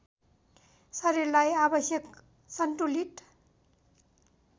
शरीरलाई आवश्यक सन्तुलित